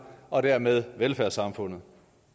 og dermed velfærdssamfundet